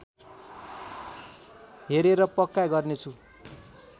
हेरेर पक्का गर्नेछु